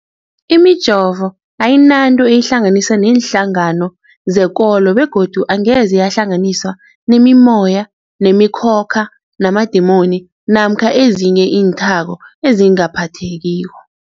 Imijovo ayinanto eyihlanganisa neenhlangano zekolo begodu angeze yahlanganiswa nemimoya, nemi khokha, namadimoni namkha ezinye iinthako ezingaphathekiko.